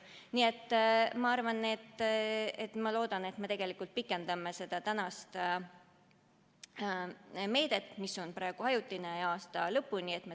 Nii et ma loodan, et me tegelikult pikendame seda meedet, mis on praegu ajutine, aasta lõpuni.